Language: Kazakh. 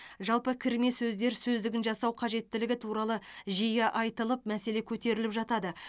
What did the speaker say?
жалпы кірме сөздер сөздігін жасау қажеттілігі туралы жиі айтылып мәселе көтеріліп жатады